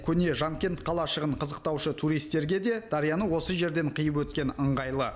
көне жанкент қалашығын қызықтаушы туристерге де дарияны осы жерден қиып өткен ыңғайлы